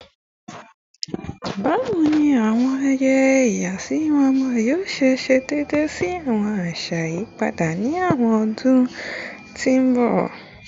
Bawo ni awọn ayẹyẹ ìyàsímímọ ọmọ yoo ṣe deede si awọn aṣa iyipada ni awọn ọdun ti n bọ?